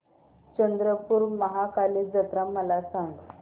चंद्रपूर महाकाली जत्रा मला सांग